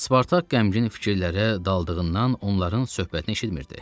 Spartak qəmgin fikirlərə daldığından onların söhbətini eşitmirdi.